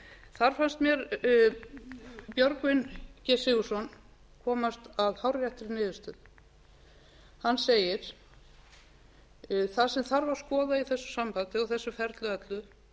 þar fannst mér björgvin g sigurðsson komast að hárréttri niðurstöðu hann segir það sem þarf að skoða í þessu sambandi og þessu ferli öllu